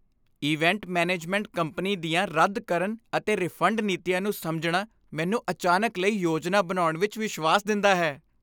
Event management company ਦੀਆਂ ਰੱਦ ਕਰਨ ਅਤੇ ਰਿਫੰਡ ਨੀਤੀਆਂ ਨੂੰ ਸਮਝਣਾ ਮੈਨੂੰ ਅਚਾਨਕ ਲਈ ਯੋਜਨਾ ਬਣਾਉਣ ਵਿੱਚ ਵਿਸ਼ਵਾਸ ਦਿੰਦਾ ਹੈ।